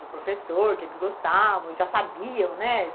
Do professor, que eles gostavam, já sabiam, né?